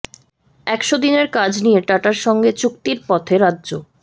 একশ দিনের কাজ নিয়ে টাটার সঙ্গে চুক্তির পথে রাজ্য